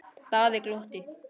Daði glotti.